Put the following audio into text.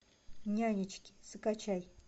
нянечки закачай